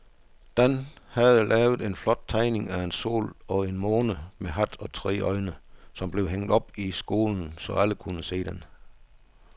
Dan havde lavet en flot tegning af en sol og en måne med hat og tre øjne, som blev hængt op i skolen, så alle kunne se den.